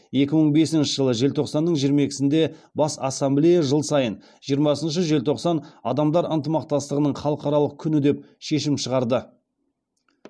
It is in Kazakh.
екі мың бесінші жылы желтоқсанның жиырма екісінде бас ассамблея жыл сайын жиырмасыншы желтоқсан адамдар ынтымақтастығының халықаралық күні деп шешім шығарды